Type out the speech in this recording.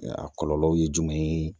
A kɔlɔlɔ ye jumɛn ye